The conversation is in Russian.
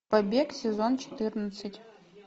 побег сезон четырнадцать